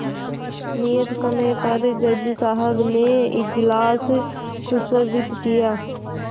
नियत समय पर जज साहब ने इजलास सुशोभित किया